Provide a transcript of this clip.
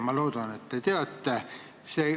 Ma loodan, et te teate seda.